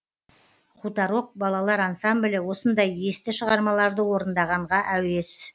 хуторок балалар ансамблі осындай есті шығармаларды орындағанға әуес